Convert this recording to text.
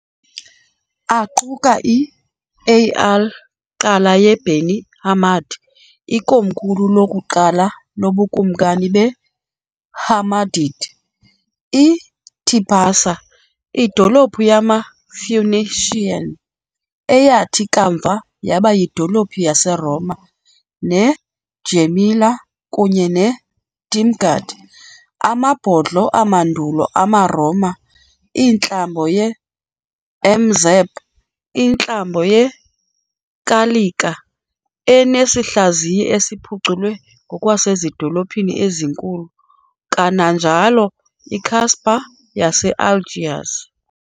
aquka i-Al Qal'a ye-Beni Hammad, ikomkhulu lokuqala lobukumkani be-Hammadid, i-Tipasa, idolophu yama-Phoenician eyathi kamva yaba yidolophu yaseRoma, ne-Djémila kunye ne-Timgad, amabhodlo amandulo amaRoma, intlambo ye-M'Zab, intlambo yekalika enesihlaziyi esiphuculwe ngokwasezidolophini ezinkulu, kananjalo i-Casbah yase-Algiers